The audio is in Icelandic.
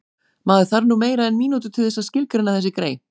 Maður þarf nú meira en mínútu til þess að skilgreina þessi grey